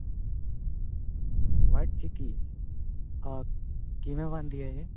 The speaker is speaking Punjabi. white chikki ਅਹ ਕਿਵੇਂ ਬਣਦੀ ਆ